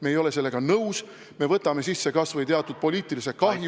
Me ei ole sellega nõus, me võtame kanda kas või teatud poliitilise kahju ...